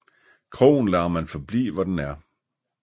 Krogen lader man forblive hvor den er